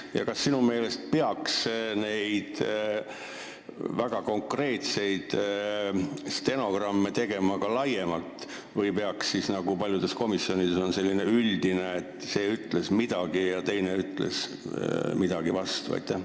Ja teiseks: kas sinu meelest peaks väga konkreetseid protokolle tegema rohkem ja paljudes komisjonides, et oleks näha, et see ütles seda ja teine ütles talle seda vastu?